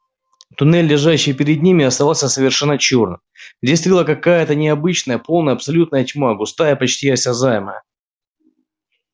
туннель лежащий перед ними оставался совершенно чёрным здесь царила какая-то необычная полная абсолютная тьма густая и почти осязаемая